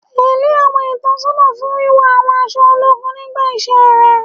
Tẹ́lẹ̀ àwọn ìtọ́sọ́nà fún wíwọ àwọn aṣọ ológun nígbà iṣẹ́ rẹ